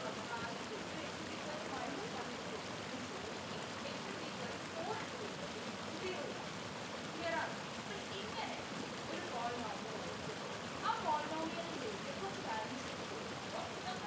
പറഞ്ഞു നമ്മൾ ആദ്യം ഇട്ടു കൊടുത്തു x is equal to minus one ഇട്ടു കൊടുത്തപ്പോഴും zero കിട്ടി x is equal to four ഇട്ടു കൊടുത്തപ്പോഴും നമുക്ക് zero കിട്ടി clear ആണോ അപ്പൊ ഇങ്ങനെ ഒരു polynomial അവര് തന്നു ആ polynomial ലേക്ക് കുറച്ചു values ഇട്ടു കൊടുക്കുമ്പോ നമുക്ക്